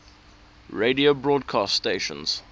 radio broadcast stations